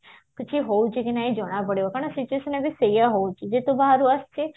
କିଛି ହଉଛି କି ନାଇଁ ଜଣା ପଡିବ କାରଣ ସେ case ଲାଗି ସେଇଆ ହଉଛି ଯେତେ ବାହାରୁ ଆସୁଛେ